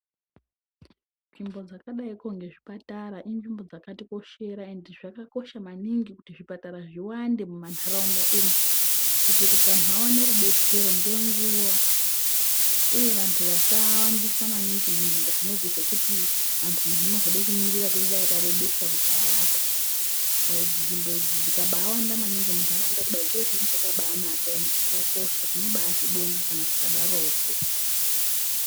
Nzvimbo dzakadai nezvipatara inzvimbo dzakatikoshera ende zvakakosha maningi kuti zvipatara zviwande mumanharaunda umu kuti vantu vaone rudetsero nenguwa uye vantu vasawandisa maningi munzvimbo nekuti vantu munozoda kumirira kwenguva yakarebesa kuti muntu arapwe nzvimbo idzi dzikabawanda munharaunda chiro chinenge chakanaka ande chakosha tinobazvibonga kana zvikadaroko.